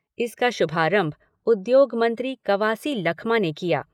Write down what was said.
इसका शुभारंभ उद्योग मंत्री कवासी लखमा ने किया।